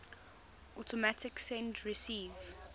automatic send receive